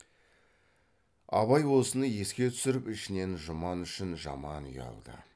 абай осыны еске түсіріп ішінен жұман үшін жаман ұялды